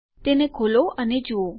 તો તેને ખોલો અને જુઓ